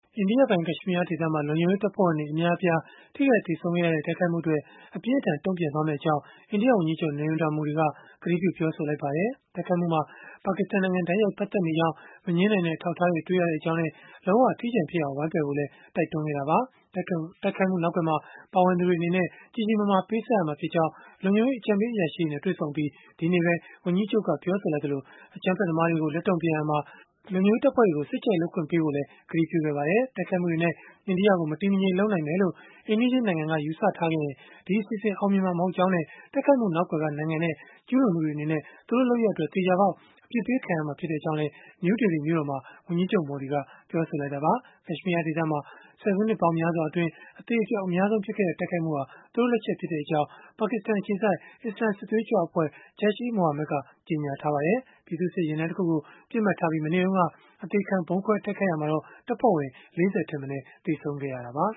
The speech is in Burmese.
အိန္ဒိယပိုင် ကက်ရှ်မီးယားဒေသမှာ လုံခြုံရေးတပ်ဖွဲ့ဝင်တွေ အများအပြား ထိခိုက်သေဆုံးခဲ့ရတဲ့ တိုက်ခိုက်မှုအတွက် အပြင်းအထန် တုံ့ပြန်သွားမှာ ဖြစ်ကြောင်း အိန္ဒိယဝန်ကြီးချုပ် Narendra Modi က ကတိပြု ပြောဆိုလိုက်ပါတယ်။ တိုက်ခိုက်မှုမှာ ပါကစ္စတန်နိုင်ငံ တိုက်ရိုက် ပတ်သက်နေကြောင်း မငြင်းနိုင်တဲ့ အထောက်အထားတွေ တွေ့ရကြောင်းနဲ့ လုံးဝအထီးကျန်ဖြစ်အောင် ဝိုင်းပယ်ဖို့လည်း တိုက်တွန်းခဲ့တာပါ။ တိုက်ခိုက်မှုနောက်ကွယ်မှာ ပါဝင်သူတွေအနေနဲ့ ကြီးကြီးမားမား ပေးဆပ်ရမှာဖြစ်ကြောင်း လုံခြုံရေးအကြံပေး အရာရှိတွေနဲ့ တွေ့ဆုံအပြီး ဒီကနေ့ပဲ ဝန်ကြီးချုပ်က ပြောဆိုလိုက်သလို အကြမ်းဖက်သမားတွေကို လက်တုံ့ပြန်ရာမှာ လုံခြုံရေးတပ်ဖွဲ့တွေကို စိတ်ကြိုက်လုပ်ခွင့် ပေးဖို့လည်း ကတိပြုခဲ့ပါတယ်။ တိုက်ခိုက်မှုတွေနဲ့ အိန္ဒိယကို မတည်မငြိမ်လုပ်နိုင်မယ်လို့ အိမ်နီးချင်း နိုင်ငံက ယူဆထား ခဲ့ရင် ဒီအစီအစဉ်ဟာ အောင်မြင်မှာ မဟုတ်ကြောင်းနဲ့ တိုက်ခိုက်မှု နောက်ကွယ်က နိုင်ငံနဲ့ကျူးလွန်သူတွေအနေနဲ့ သူတို့လုပ်ရပ်အတွက် သေချာပေါက် အပြစ်ပေးခံရမှာ ဖြစ်ကြောင်းလည်း နယူးဒေလီမြို့တော်မှာ ဝန်ကြီးချုပ် Modi က ပြောဆိုလိုက်တာပါ။ ကက်ရှ်မီးယား ဒေသမှာ ဆယ်စုနှစ်ပေါင်း များစွာအတွင်း အသေအပျောက် အများဆုံး ဖြစ်ခဲ့တဲ့ တိုက်ခိုက်မှုဟာ သူတို့လက်ချက် ဖြစ်ကြောင်းလည်း ပါကစ္စတန်အခြေစိုက် အစ္စလာမ်စစ်သွေးကြွအဖွဲ့ Jaish-e-Mohammad က ကြေညာထားပါတယ်။ ပြည်သူ့စစ် ယာဉ်တန်းတခုကို ပစ်မှတ်ထားပြီး မနေ့တုန်းက အသေခံဗုံးခွဲ တိုက်ခိုက်ခဲ့ရာမှာတော့ တပ်ဖွဲ့ဝင် ၄၀ ထက်မနည်း သေဆုံးခဲ့တာပါ